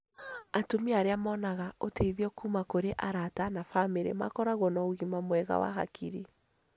Atumia arĩa monaga ũteithio kuma kũrĩ arata na bamĩrĩ makoragwo na ũgima mwega wa hakiri.